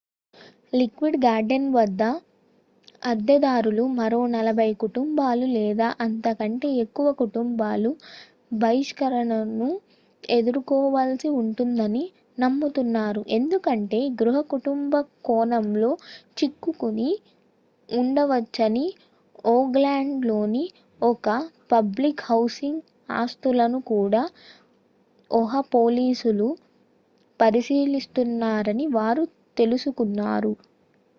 Lockwood gardens వద్ద అద్దెదారులు మరో 40 కుటుంబాలు లేదా అంతకంటే ఎక్కువ కుటుంబాలు బహిష్కరణను ఎదుర్కోవలసి ఉంటుందని నమ్ముతున్నారు ఎందుకంటే గృహ కుంభకోణంలో చిక్కుకుని ఉండవచ్చని ఓక్లాండ్ లోని ఇతర పబ్లిక్ హౌసింగ్ ఆస్తులను కూడా ఒహ పోలీసులు పరిశీలిస్తున్నారని వారు తెలుసుకున్నారు